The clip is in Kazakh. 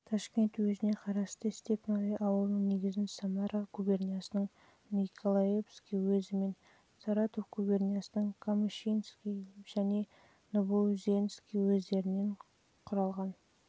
ташкент уезіне қарасты степное ауылының негізін самара губерниясының николаевский уезі мен саратов губерниясының камышинский және новоузенский уездерінен